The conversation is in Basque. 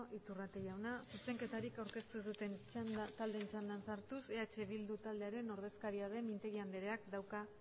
iturrate jauna zuzenketarik aurkeztu duten taldeen txanda sartuz eh bildu taldearen ordezkaria den mintegi andereak dauka